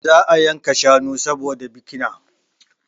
Za a yanka shanu saboda bikina